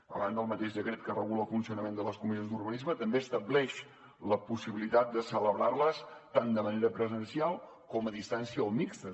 a banda el mateix decret que regula el funcionament de les comissions d’urbanisme també estableix la possibilitat de celebrar les tant de manera presencial com a distància o mixtes